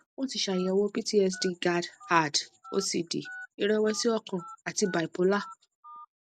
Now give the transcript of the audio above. wọn ti ṣàyẹwò ptsd gad add ocd ìrẹwẹsì ọkàn àti bipolar